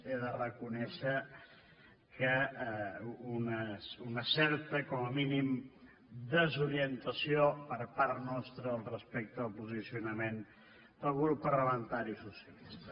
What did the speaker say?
he de reconèixer que una certa com a mínim desorientació per part nostra respecte al posicionament del grup parlamentari socialista